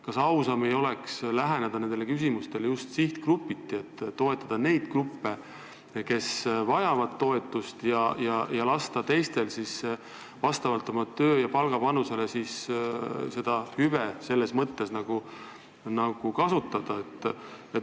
Kas ausam ei oleks läheneda nendele küsimustele just sihtgrupiti, toetada neid, kes vajavad toetust, ja lasta teistel vastavalt oma tööstaažile ja palgale hüvesid kasutada?